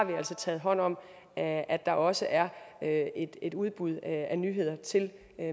taget hånd om at at der også er et udbud af nyheder til